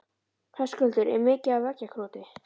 Höskuldur: Er mikið af veggjakroti?